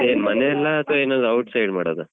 ಅದೇ ಮನೆಯಲ್ಲಾ ಅಥ್ವಾ ಎಲ್ಲಾದ್ರೂ outside ಮಾಡುದಾ?